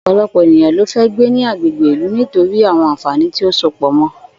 Ò̩pò̩lo̩pò̩ ènìyàn ló fé̩ gbé ní agbègbè ìlú nítorí àwo̩n àǹfàní tí ó so pò̩ mo̩